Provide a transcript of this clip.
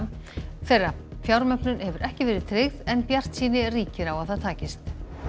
þeirra fjármögnun hefur ekki verið tryggð en bjartsýni ríkir á að það takist